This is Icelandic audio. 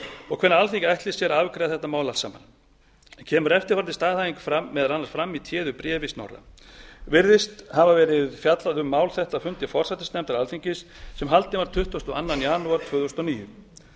og hvernig alþingi ætli sér að afgreiða þetta mál allt saman kemur eftirfarandi staðhæfing meðal annars fram í téðu bréfi snorra fimm irðist hafa verið fjallað um mál þetta á fundi forsætisnefndar alþingis sem haldinn var tuttugasta og annan janúar tvö þúsund og níu